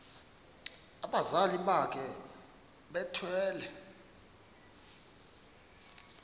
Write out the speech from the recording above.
abazali bakhe bethwele